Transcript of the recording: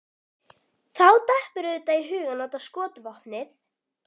Þá datt mér auðvitað í hug að nota skotvopnið.